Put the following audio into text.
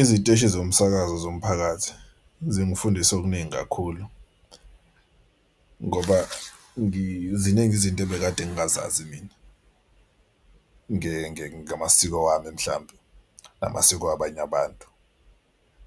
Iziteshi zomsakazo zomphakathi zingifundise okuningi kakhulu ngoba ziningi izinto ebekade ngingazazi mina ngamasiko ami mhlampe namasiko abanye abantu.